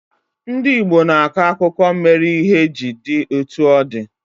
Ndị Igbo na-akọ akụkọ mere ihe ji di etu o di